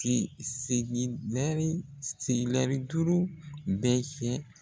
duuru bɛ fɛ